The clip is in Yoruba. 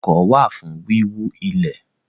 Ọkọ́ wà fún wíwú ilẹ̀